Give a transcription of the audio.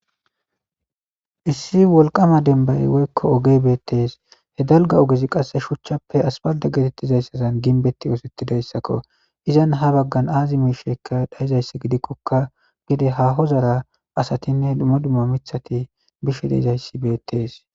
Issi wolqama denbay woykko oge beettees he dalga ogezi qasse shuchchappe aspalda geetettizayssazan ginbetti oosetidayssakko izan ha baggan aazi miishekka dhayizayssi gidikkokka gide ha hozara asatinne duma dumma mithati bish deizayssi beettees.